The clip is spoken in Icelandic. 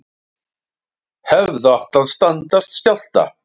Hefðu átt að standast skjálfta